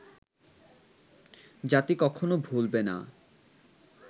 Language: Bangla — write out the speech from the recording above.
জাতি কখনো ভুলবে না